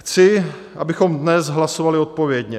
Chci, abychom dnes hlasovali odpovědně.